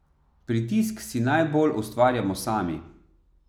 Pritisk si najbolj ustvarjamo sami.